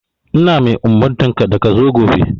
Ina mai umurtanka da ka zo gobe!